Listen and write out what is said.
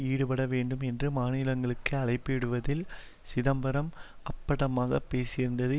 ஈடுபட வேண்டும் என்று மாநிலங்களுக்கு அழைப்பு இடுவதில் சிதம்பரம் அப்பட்டமாகப் பேசியிருந்தது